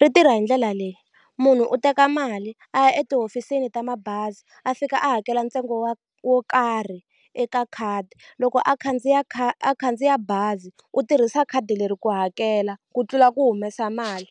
ri tirha hindlela leyi munhu u teka mali a ya etihofisini ta mabazi a fika a hakela ntsengo wa wo karhi eka khadi loko a khandziya a kha a khandziya bazi u tirhisa khadi leri ku hakela ku tlula ku humesa mali.